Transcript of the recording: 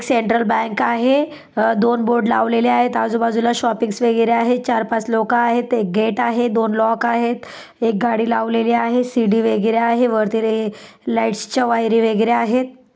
Central bank आहे. अ दोन बोर्ड लावलेले आहेत. आजूबाजूला शॉपिंग्स वगैरे आहेत. चार पांच लोक आहेत. एक गेट आहे. दोन लॉक आहेत. एक गाड़ी लावलेली आहे. सीढी वगैरे आहे. वरती रे लाइट्स च्या वायरी वगेरे आहेत.